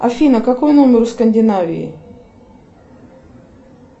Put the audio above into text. афина какой номер у скандинавии